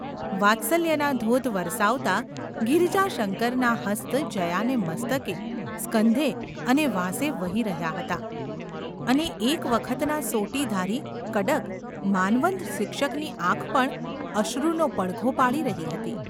વાત્સલ્યના ધોધ વરસાવતા ગિરિજાશંકરના હસ્ત જયાને મસ્તકે, સ્કંધે અને વાંસે વહી રહ્યા હતા અને એક વખતના સોટીધારી, કડક, માનવંત શિક્ષકની આંખ પણ અશ્રુનો પડઘો પાડી રહી હતી.